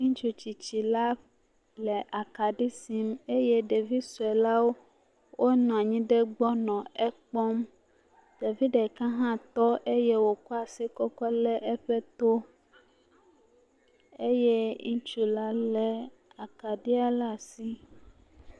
Ŋutsu tsitsi la le akaɖi sim eye ɖevi sue la wo wonɔ anyi ɖe egbɔ nɔ ekpɔm. Ɖevi ɖeka hã tɔ eye wokɔ asi kɔkɔ le eƒe to eye ŋutsu le akaɖia ɖe asi.